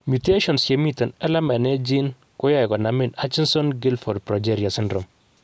Mutations chemiten LMNA gene koyoe konamin Hutchinson Gilford progeria syndrome.